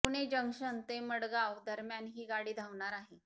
Pune junction ते मडगाव दरम्यान ही गाडी धावणार आहे